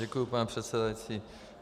Děkuji, pane předsedající.